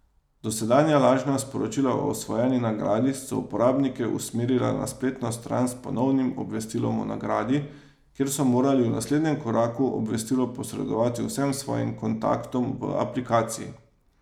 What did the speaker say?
Dosedanja lažna sporočila o osvojeni nagradi so uporabnike usmerila na spletno stran s ponovnim obvestilom o nagradi, kjer so morali v naslednjem koraku obvestilo posredovati vsem svojim kontaktom v aplikaciji.